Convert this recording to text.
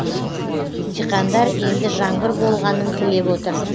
диқандар енді жаңбыр болғанын тілеп отыр